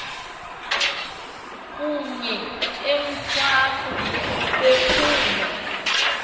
kunye emthwaku bephuma